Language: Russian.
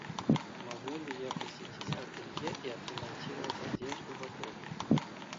могу ли я посетить ателье и отремонтировать одежду в отеле